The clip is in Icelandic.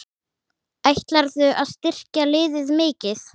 Ætlarðu að styrkja liðið mikið?